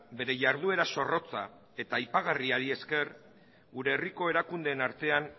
bere jarduera zorrotza eta aipagarriari esker gure herriko erakundeen artean